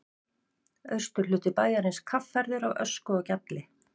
Austurhluti bæjarins kaffærður af ösku og gjalli.